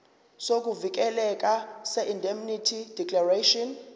sokuvikeleka seindemnity declaration